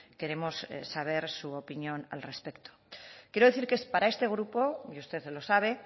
queremos saber su opinión al respecto quiero decir que para este grupo y usted lo sabe